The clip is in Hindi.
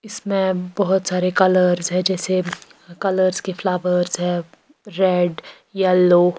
इसमें बहुत सारे कलर्स है जैसे कलर्स के फ्लावर्स है रेड येलो --